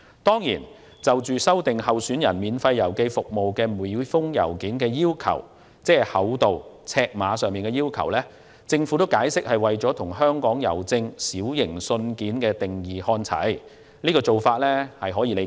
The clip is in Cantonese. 當然，就修訂候選人免費郵寄每封信件的厚度和尺碼規定，政府解釋是為了與香港郵政就"小型信件"所定的尺碼限制看齊，這種做法可以理解。